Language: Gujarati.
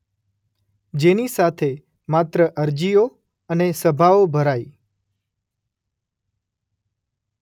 જેની સાથે માત્ર અરજીઓ અને સભાઓ ભરાઈ.